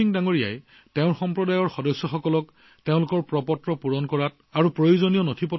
ভীমসিং জীয়ে তেওঁৰ সমাজৰ ৰাইজক প্ৰয়োজনীয় নথিপত্ৰ প্ৰস্তুত কৰা আৰু প্ৰপত্ৰ পূৰণৰ ক্ষেত্ৰতো সহায় কৰি আছে